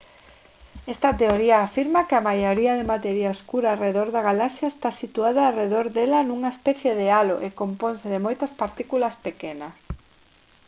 esta teoría afirma que a maioría de materia escura arredor da galaxia está situada arredor dela nunha especie de halo e componse de moitas partículas pequenas